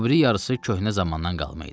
O biri yarısı köhnə zamandan qalma idi.